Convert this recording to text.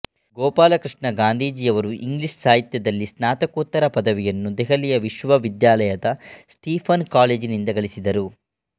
ಗೋಪಾಲಕೃಷ್ಣ ಗಾಂಧಿಯವರು ಇಂಗ್ಲೀಷ್ ಸಾಹಿತ್ಯದಲ್ಲಿ ಸ್ನಾತಕೋತ್ತರ ಪದವಿಯನ್ನು ದೆಹಲಿ ವಿಶ್ವವಿದ್ಯಾಲಯದ ಸ್ಟೀಫನ್ ಕಾಲೇಜಿನಿಂದ ಗಳಿಸಿದರು